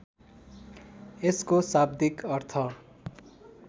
यसको शाब्दिक अर्थ